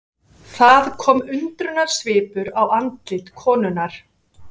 Það kom undrunarsvipur á andlit konunnar.